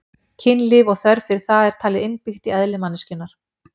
Kynlíf og þörf fyrir það er talið innbyggt í eðli manneskjunnar.